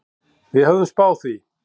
Við höfðum spáð því.